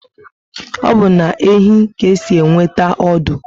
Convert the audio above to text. Obu na ehi ka esi enweta ọdụ